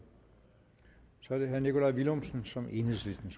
så er det herre nikolaj villumsen som enhedslistens